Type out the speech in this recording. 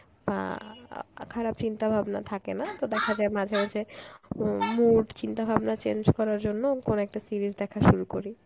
বা অ্যাঁ খারাপ চিন্তা ভাবনা থাকেনা তো দেখা যায় মাঝে মাঝে উম mood চিন্তাভাবনা change করার জন্য কোন একটা series দেখা শুরু করি